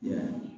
Ya